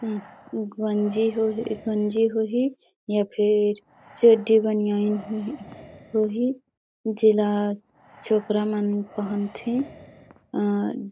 उँ गंजी होही गंजी होही या फिर चड्डी बनयाईन होही होही जेला छोकरा मन पहनथे अ--